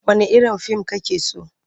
Wanne irin fim kake so?